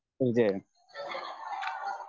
തീർച്ചയായും